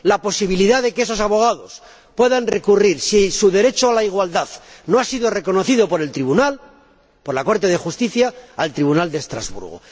La posibilidad de que esos abogados puedan recurrir, si su derecho a la igualdad no ha sido reconocido por el Tribunal de Justicia, al Tribunal de Estrasburgo.